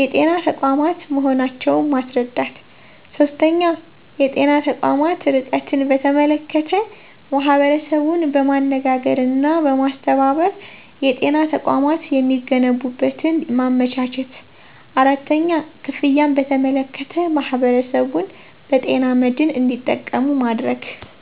የጤና ተቋማት መሆናቸውን ማስረዳት። 3-የጤና ተቋማት ርቀትን በተመለከተ ማህበረሰቡን በማነጋገርና በማስተባበር የጤና ተቋማት የሚገነቡበትን ማመቻቸት 4-ክፍያን በተመለከተ ማህበረሰቡን በጤና መድን እንዱጠቀሙ ማድረግ።